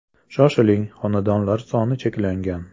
Shoshiling, xonadonlar soni cheklangan!